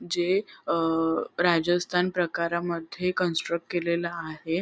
जे अ राजस्थान प्रकारामध्ये कन्स्ट्रक्ट केलेलं आहे.